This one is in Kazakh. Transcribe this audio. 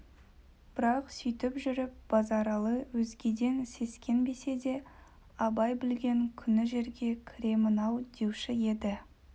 бірақ сүйтіп жүріп базаралы өзгеден сескенбесе де абай білген күні жерге кіремін-ау деуші еді